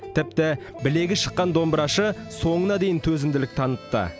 тіпті білегі шыққан домбырашы соңына дейін төзімділік танытты